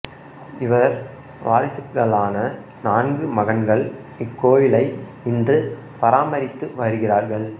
இவர் வாரிசுகளான நான்கு மகன்கள் இக்கோவிலை இன்று பராமரித்து வருகிறார்கள்